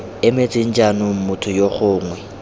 emetseng jaanong motho yo gongwe